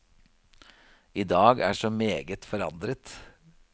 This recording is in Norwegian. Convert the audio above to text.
I dag er så meget forandret.